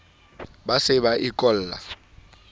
ba se ba e kolla